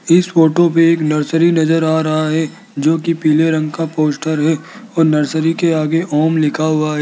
इस फोटो पे एक नर्सरी नज़र आ रहा है जो की पीले रंग का पोस्टर है और नर्सरी के आगे ओम लिखा हुआ --